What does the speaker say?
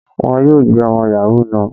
Wọ́n yóò gbé ọmọ Yahoo náà.